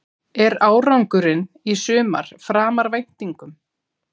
Er árangurinn í sumar framar væntingum?